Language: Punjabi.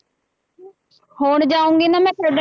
ਹੁਣ ਜਾਊਂਗੀ ਨਾ ਮੈਂ ਤੁਹਾਡੇ